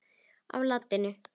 á latínu.